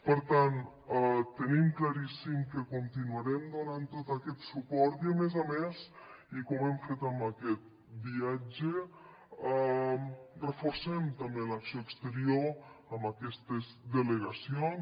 per tant tenim claríssim que continuarem donant tot aquest suport i a més a més i com hem fet amb aquest viatge reforcem també l’acció exterior amb aquestes delegacions